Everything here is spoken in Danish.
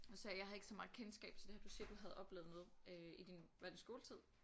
Du sagde jeg har ikke så meget kendskab til det her du siger du havde oplevet noget øh i din var det skoletid?